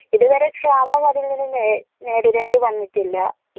ഇത് വരെ ക്ഷാമം അതിൽ നിന്ന് നേ നേടിടേണ്ടി വന്നിട്ടില്ല